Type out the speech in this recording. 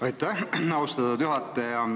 Aitäh, austatud juhataja!